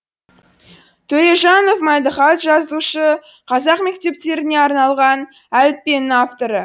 төрежанов мәдіхат жазушы қазақ мектептеріне арналған әліппенің авторы